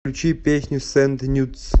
включи песня сенд нюдс